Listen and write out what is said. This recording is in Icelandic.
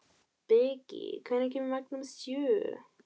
Beggi, hvenær kemur vagn númer sjö?